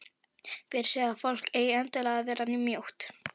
Hver segir að fólk eigi endilega að vera mjótt?